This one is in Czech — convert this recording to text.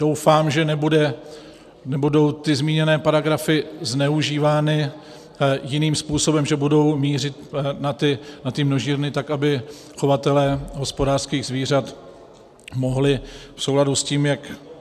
Doufám, že nebudou ty zmíněné paragrafy zneužívány jiným způsobem, že budou mířit na ty množírny, tak aby chovatelé hospodářských zvířat mohli v souladu s tím, jak...